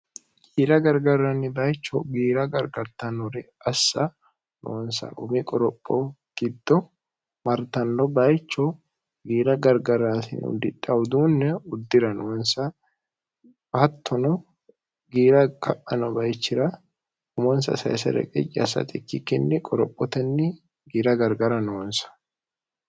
giira gargarranni bayicho giira gargartannori assa noonsa umi qoropho giddo martanno bayicho giira gargaraasi uldidhauduunne uddira noonsa hattono giira ka'ano bayichira umonsa sesere qiy assat ikkikkinni qorophotenni giira gargara noonsa